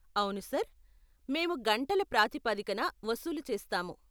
అవును సార్, మేము గంటల ప్రాతిపదికన వసూలు చేస్తాము.